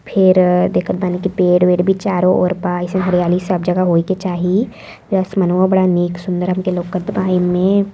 फिर देखत बानी कि पेड़ वेड़ चारों ओर बा। अइसन हरियाली सब जगह होइ के। ई आसमनवो बड़ा नीक सुंदर हमके लौकत बा एमे।